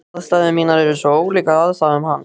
Aðstæður mínar eru svo ólíkar aðstæðum hans.